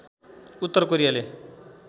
उत्तर कोरियाले